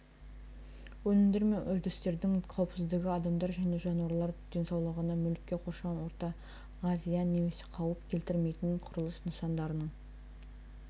өнімдер мен үрдістердің қауіпсіздігі адамдар және жануарлар денсаулығына мүлікке қоршаған ортаға зиян немесе қауіп келтірмейтін құрылыс нысандарының